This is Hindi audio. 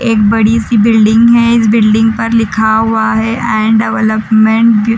एक बड़ी सी बिल्डिंग हैं इस बिल्डिंग पर लिखा हुआ है एंड डेवलपमेंट --